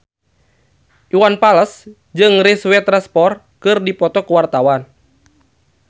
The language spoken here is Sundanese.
Iwan Fals jeung Reese Witherspoon keur dipoto ku wartawan